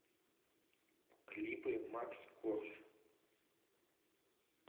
клипы макс корж